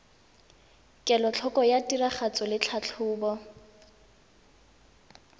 kelotlhoko ya tiragatso le tlhatlhobo